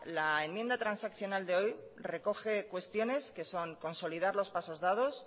la enmienda transaccional de hoy recoge cuestiones que son consolidar los pasos dados